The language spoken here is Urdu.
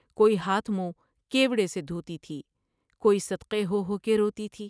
کوئی ہاتھ منہ کیوڑے سے دھوتی تھی ۔کوئی صدقے ہو ہو کے روتی تھی ۔